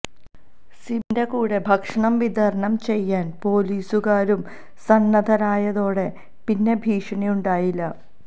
സിബിന്റെ കൂടെ ഭക്ഷണം വിതരണം ചെയ്യാൻ പൊലീസുകാരും സന്നദ്ധരായതോടെ പിന്നെ ഭീഷണി ഉണ്ടായില്ല